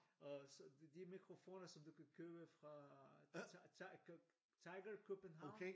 Og så de mikrofoner som du kan købe fra Tiger Tiger København